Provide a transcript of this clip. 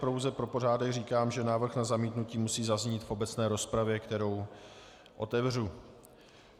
Pouze pro pořádek říkám, že návrh na zamítnutí musí zaznít v obecné rozpravě, kterou otevřu.